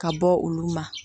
Ka bɔ olu ma